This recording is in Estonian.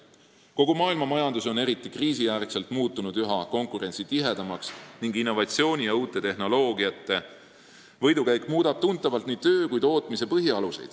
Kogu maailmamajandus on eriti kriisi järel muutunud üha konkurentsitihedamaks ning innovatsiooni ja uute tehnoloogiate võidukäik muudab tuntavalt nii töötamise kui ka tootmise põhialuseid.